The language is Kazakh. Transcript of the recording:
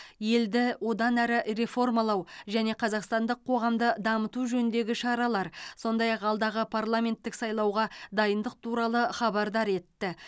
елді одан әрі реформалау және қазақстандық қоғамды дамыту жөніндегі шаралар сондай ақ алдағы парламенттік сайлауға дайындық туралы хабардар етті